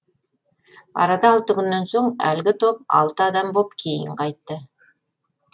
арада алты күннен соң әлгі топ алты адам боп кейін қайтты